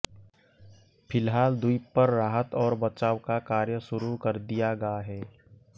फिलहाल द्वीप पर राहत और बचाव का कार्य शुरू कर दिया गा है